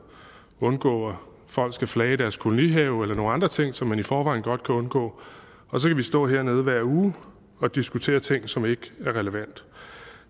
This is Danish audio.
undgå at folk skal flage i deres kolonihave eller nogle andre ting som man i forvejen godt kan undgå og så kan vi stå hernede hver uge og diskutere ting som ikke er relevante